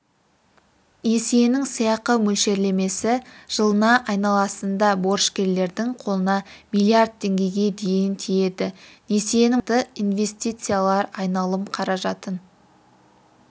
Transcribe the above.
несиенің сыйақы мөлшерлемесі жылына айналасында борышкердің қолына миллиард теңгеге дейін тиеді несиенің мақсаты инвестициялар айналым қаражатын